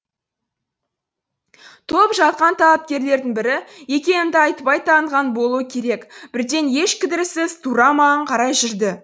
толып жатқан талапкерлердің бірі екенімді айтпай таныған болуы керек бірден еш кідіріссіз тура маған қарай жүрді